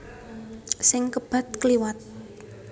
Sing kebat kliwat